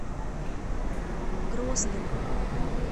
грозным